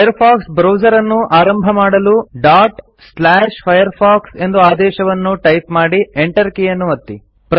Firefox ಬ್ರೌಸರನ್ನು ಆರಂಭ ಮಾಡಲು firefox ಎಂದು ಆದೇಶವನ್ನು ಟೈಪ್ ಮಾಡಿ ಎಂಟರ್ ಕೀಯನ್ನು ಒತ್ತಿ